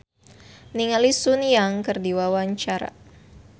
Novita Dewi olohok ningali Sun Yang keur diwawancara